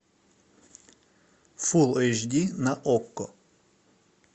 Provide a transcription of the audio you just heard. фул эйч ди на окко